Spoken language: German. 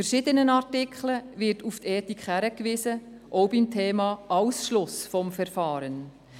In verschiedenen Artikeln wird auf Ethik verwiesen, auch beim Thema Ausschluss vom Verfahren.